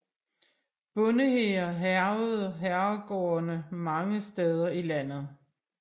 Bondehære hærgede herregårdene mange steder i landet